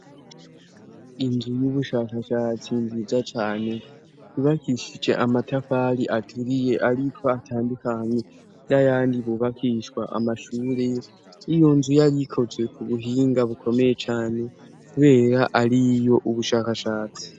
Inzu y'ubushakashatsi nziza cane yubakishije amatafari aturiye ariko atandukanye n' ayandi yubakishwa amashure. Iyo nzu yari ikoze ku buhinga bukomeye cane kubera ari iy' ubushakashatsi.